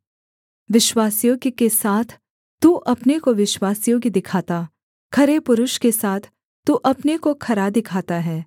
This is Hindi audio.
विश्वासयोग्य के साथ तू अपने को विश्वासयोग्य दिखाता खरे पुरुष के साथ तू अपने को खरा दिखाता है